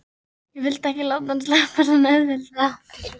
Ég vildi ekki láta hann sleppa svona auðveldlega.